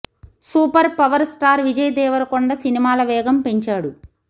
super power star Vijay Devarakonda సినిమాల వేగం పెంచాడు